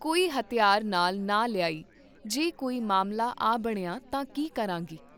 ਕੋਈ ਹਥਿਆਰ ਨਾਲ ਨਾ ਲਿਆਈ, ਜੇ ਕੋਈ ਮਾਮਲਾ ਆ ਬਣਿਆ ਤਾਂ ਕੀ ਕਰਾਂਗੀ?